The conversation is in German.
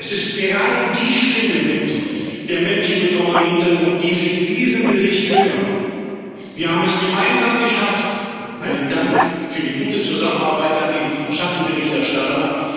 Es ist gerade die Stimme der Menschen mit Romani Hintergrund, die Sie in diesem Bericht hören. Wir haben es gemeinsam geschafft einen Dank für die gute Zusammenarbeit an die Schattenberichterstatter!